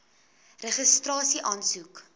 registrasieaansoek